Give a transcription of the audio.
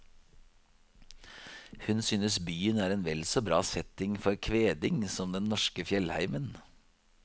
Hun synes byen er en vel så bra setting for kveding som den norske fjellheimen.